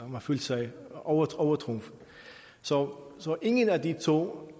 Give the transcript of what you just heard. man følte sig overtrumfet så ingen af de to